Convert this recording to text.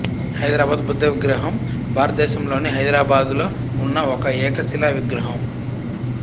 హైదరాబాద్ బుద్ధ విగ్రహం భారతదేశంలోని హైదరాబాద్లో ఉన్న ఒక ఏకశిలా విగ్రహం